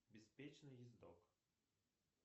беспечный ездок